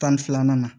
Tan ni filanan